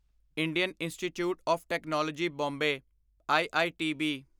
Indian Institute of Technology Bombay IITB